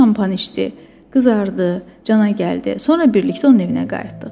O şampan içdi, qızardı, cana gəldi, sonra birlikdə onun evinə qayıtdıq.